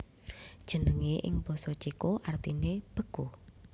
Jenengé ing basa Céko artiné beku